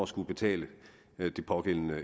skulle betale det pågældende